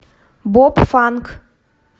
боб фанк